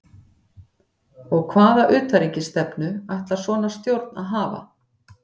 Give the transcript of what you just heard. Og hvaða utanríkisstefnu ætlar svona stjórn að hafa?